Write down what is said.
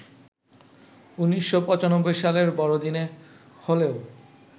১৯৯৫ সালের বড়দিনে হলেও